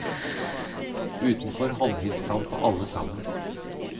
Utenfor håndhilste han på alle sammen.